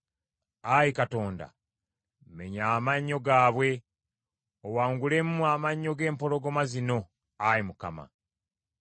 Ayi Katonda, menya amannyo gaabwe; owangulemu amannyo g’empologoma zino, Ayi Mukama .